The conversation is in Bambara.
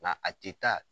Nka a tɛ taa